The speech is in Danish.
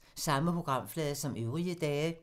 Samme programflade som øvrige dage